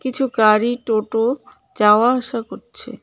কিছু গাড়ি টোটো যাওয়া আসা করছে.